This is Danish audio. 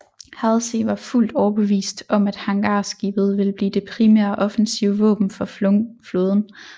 Halsey var fuldt overbevist om at hangarskibet ville blive det primære offensive våben for flåden